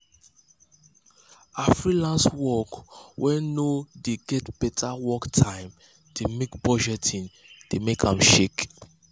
her freelenace work wen no wen no de get better work time de make budgeting de make am shake